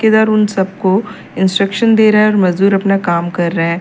इधर उन सबको इंस्ट्रक्शन दे रहा है और मजदूर अपना काम कर रहे हैं।